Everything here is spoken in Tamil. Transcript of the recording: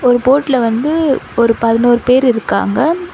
ஒரு போட்ல வந்து ஒரு பதினோர் பேர் இருக்காங்க.